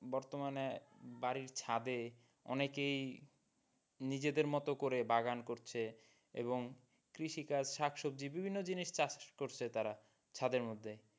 বর্তমানে বাড়ির ছাদে অনেকেই নিজেদের মতো করে বাগান করছে এবং কৃষি কাজ শাক সবজি বিভিন্ন জিনিস চাষ করছে তারা ছাদের মধ্যেই।